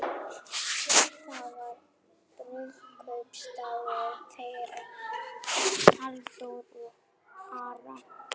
Það var brúðkaupsdagur þeirra Halldóru og Ara.